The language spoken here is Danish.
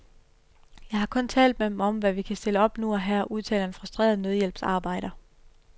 Jeg har kun talt med dem om, hvad vi kan stille op nu og her, udtaler en frustreret nødhjælpsarbejder.